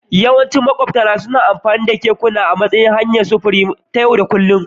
Yawancin makwabtana suna amfani da kekuna a matsayin hanyar sufuri ta yau da kullun